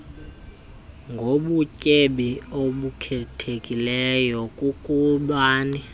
ngobutyebi obukhethekileyo kokubini